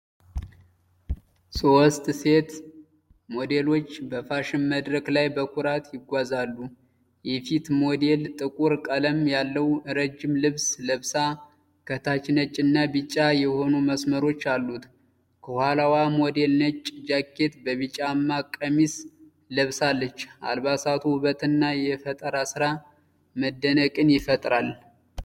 ሶስት ሴት ሞዴሎች በፋሽን መድረክ ላይ በኩራት ይጓዛሉ። የፊት ሞዴል ጥቁር ቀለም ያለው ረጅም ልብስ ለብሳ፣ ከታች ነጭና ቢጫ የሆኑ መስመሮች አሉት። የኋላዋ ሞዴል ነጭ ጃኬት በቢጫማ ቀሚስ ለብሳለች። አልባሳቱ ውበትና የፈጠራ ስራ መደነቅን ይፈጥራሉ።